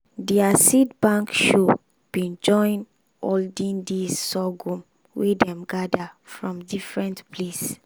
their seed bank show been join olden days sorghum wey dem gather from different place.